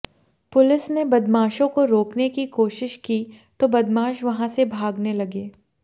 police ने बदमाशों को रोकने की कोशिश की तो बदमाश वहां से भागने लगे